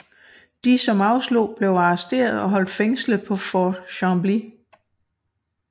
De som afslog blev arresteret og holdt fængslet på Fort Chambly